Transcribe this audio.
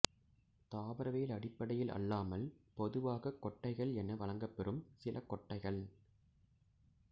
தாவரவியல் அடிப்படையில் அல்லாமல் பொதுவாகக் கொட்டைகள் என வழங்கப்பெறும் சில கொட்டைகள்